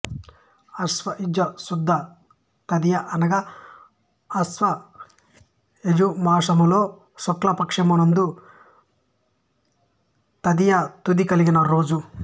ఆశ్వయుజ శుద్ధ తదియ అనగా ఆశ్వయుజమాసములో శుక్ల పక్షము నందు తదియ తిథి కలిగిన రోజు